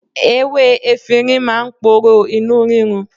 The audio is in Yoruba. Ewé efinrin máa ń poró inú rírun.